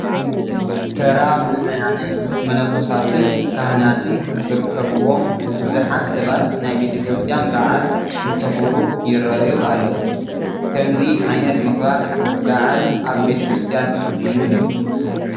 ተራ ምእመናን፣ መነኮሳትን ካህናትን ዝርከብዎም ብዙሓት ሰባት ናይ ቤተ ክርስቲያን በዓል እንተኽብሩ ይርአዩ ኣለዉ፡፡ ከምዚ ዓይነት ምኽባር በዓል ኣብ ቤተ ክርስቲያን ልሙድ እዩ፡፡